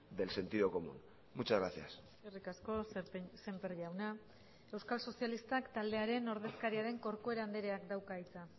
del sentido común muchas gracias eskerrik asko semper jauna euskal sozialistak taldearen ordezkaria den corcuera andreak dauka hitza